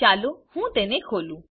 ચાલો હું તેને ખોલું